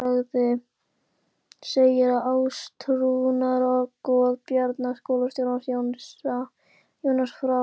Sú saga segir að átrúnaðargoð Bjarna skólastjóra, Jónas frá